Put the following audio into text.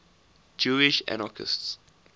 jewish anarchists